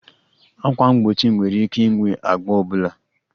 Ákwà mgbochi nwere ike ịnwe agba ọ bụla